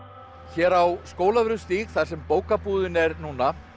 hér á Skólavörðustíg þar sem bókabúðin er núna